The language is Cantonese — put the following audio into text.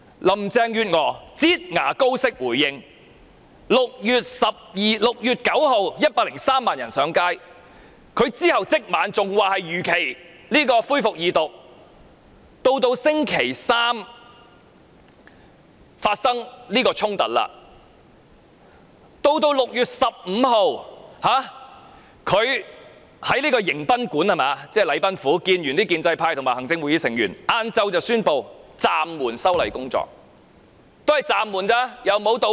林鄭月娥"擠牙膏"式回應 ，6 月9日有103萬人上街，她在當晚竟然仍說修訂法案會如期恢復二讀，到星期三發生警民衝突，她在6月15日才在"迎賓館"與建制派及行政會議成員見面，再到下午才宣布暫緩修例工作，但也只是暫緩，亦沒有道歉。